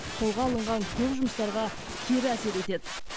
қолға алынған көп жұмыстарға кері әсер етеді